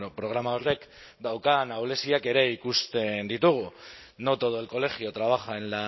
programa horrek daukan ahuleziak ere ikusten ditugu no todo el colegio trabaja en